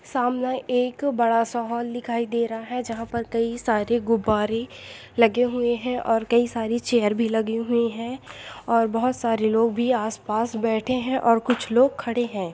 सामने एक बड़ा सा हाल दिखाई दे रहा है जहाँ पर कई सारे गुब्बारे लगे हुए है और कई सारी चेयर भी लगी हुई है और बोहत सारे लोग भी आस पास बेठे है और कुछ लोग खड़े है।